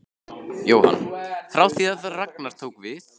Jóhann: Frá því að Ragnar tók við?